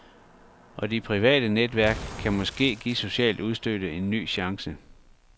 Og de private netværk kan måske give socialt udstødte en ny chance.